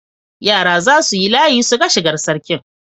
Yara za su yi layi su ga shigar Sarkin.